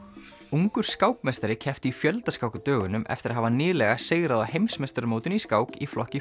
ungur skákmeistari keppti í fjöldaskák á dögunum eftir að hafa nýlega sigrað á heimsmeistaramótinu í skák í flokki